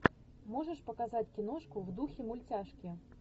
можешь показать киношку в духе мультяшки